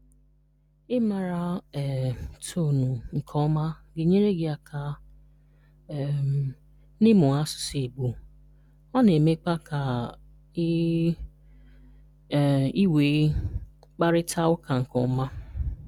Ị maara um toonụ nke ọma ga-enyere gị aka um n'ịmu asụsụ Igbo ọ na-emekwa ka ị um nwee mkparita ụka nke ọma.